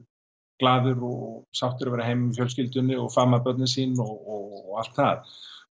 glaðir og sáttir að vera heima með fjölskyldunni og faðma börnin sín og allt það